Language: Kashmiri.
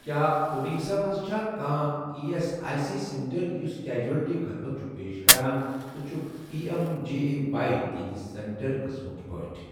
کیٛاہ اُڈیٖشہ مَنٛز چھا کانٛہہ E S I C centre یُس کیجوَلٹی خدمت چھُ پیش کران تہٕ چھُکھ P M J A Y تِہنٛدِ سینٹر قٕسمٕک پٲٹھۍ؟